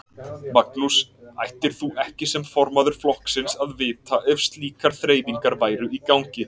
Magnús: Ættir þú ekki sem formaður flokksins að vita ef slíkar þreifingar væru í gangi?